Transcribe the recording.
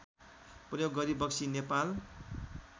प्रयोग गरिबक्सी नेपाल